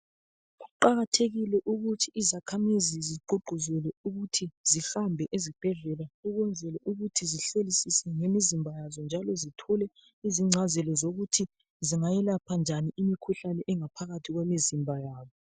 Kuqakathekile ukuthi izakhamizi zigqugquzelwe ukuthi zihambe ezibhedlela ukwenzela ukuthi zihlolisise ngemizimba yazo njalo zithole izingcazelo zokuthi zingayelapha njani imikhuhlane engaphakathi kwemizimba yabo.